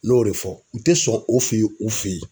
Ne y'o de fɔ u tɛ sɔn o fɛ yen u fɛ yen.